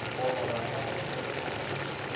kgolwa ga ka go felela